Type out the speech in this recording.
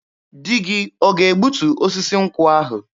Di gị ọ ga-egbutu osisi nkwụ ahụ?